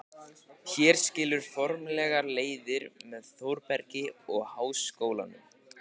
Hér skilur formlega leiðir með Þórbergi og Háskólanum.